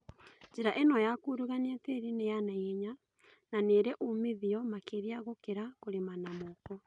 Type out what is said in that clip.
Njĩra ĩno ya kurugania tĩri nĩya naihenya na nĩrĩ umithio makĩria gũkĩra kũrĩma na moko